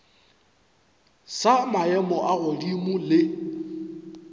sa maemo a godimo le